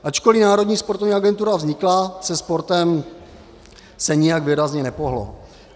Ačkoli Národní sportovní agentura vznikla, se sportem se nijak výrazně nepohnulo.